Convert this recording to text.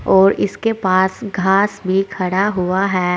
और इसके पास घास भी खड़ा हुआ है।